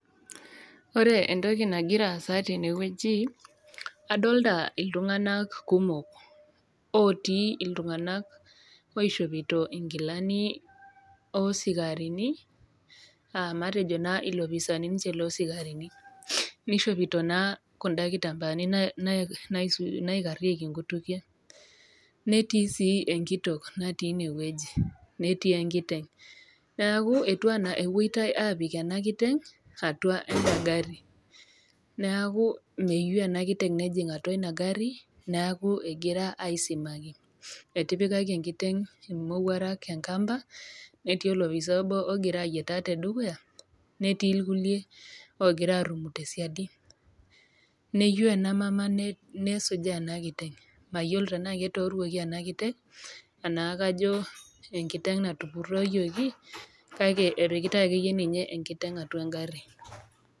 Ore entoki nagira aasa tene wueji, adolita iltung'ana kumok, otii iltung'ana oishopito inkilani o isikarini aa matejo naa iloopisaini loo sikarini ninye, neishopito naa kundaa kitambaani naikarieki inkutukie, netii sii enkitok natii ine wueji, netii enkiteng'. Neaku etiu ana epuoitai apik ena kiteng' atua enda gari, neaku meyou Ina kiteng' nejing' atua ina gari, neaku egira aisimaki, etipikaki enkiteng' imowuarak enkiteng' enkampa, netii olopisai obo ogira ayietaa te dukuya, netii ilkulie ogira arumu te siadi. Neyiou ena mama nesujaa ena kiteng', mayiolo tanaa etooruoki ena kiteng' anaa kajo enkiteng' natupurooyioki, kake epikitai ake iyie ninye enkiteng' atua engari.